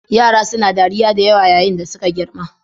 Yara suna dariya da yawa yayin da suke girma.